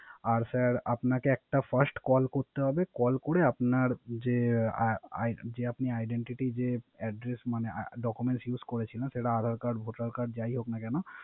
আর sir আপনাকে একটা First Call করতে Call করে আপনার যে IP তে Identity এ যে Address মানে Document use করেছিলেন। সেটা আদার কার্ড ভোটার কার্ড যাই হোক না কেন